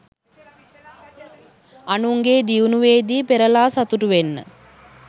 අනුන්ගේ දියුණුවේදී පෙරළා සතුටු වෙන්න.